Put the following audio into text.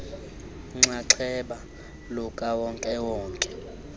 nxaxheba lukawonke wonke